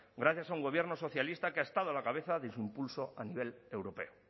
gracias a un gobierno socialista que ha estado a la cabeza de su impulso a nivel europeo